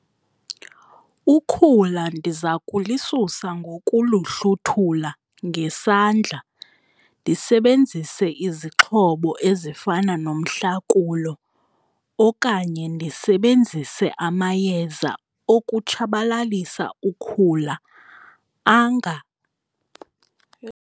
Ukhula ndiza kulisusa ngokoluhluthula ngesandla ndisebenzise izixhobo ezifana nomhlakulo okanye ndisebenzise amayeza okutshabalalisa ukhula yho.